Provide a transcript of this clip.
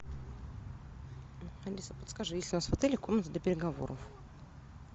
алиса подскажи есть ли у нас в отеле комната для переговоров